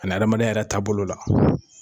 Ani adamadenya yɛrɛ taabolo la.